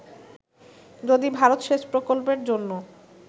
যদি ভারত সেচ প্রকল্পের জন্য